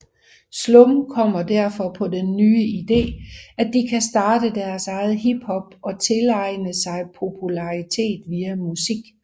Slum kommer derfor på den nye idé at de kan starte deres eget hiphop og tilegen sig popularitet via musik